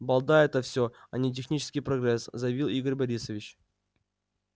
балда это все а не технический прогресс заявил игорь борисович